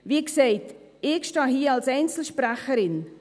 Wie gesagt, ich stehe hier als Einzelsprecherin.